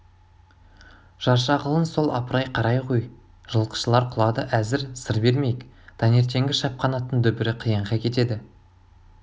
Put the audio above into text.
жаршағылың сол апырай қарай ғой жылқышылар құлады әзір сыр бермейік таңертеңгі шапқан аттың дүбірі қиянға кетеді